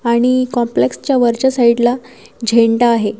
आणि कॉम्प्लेक्सच्या वरच्या साईडला झेंडा आहे.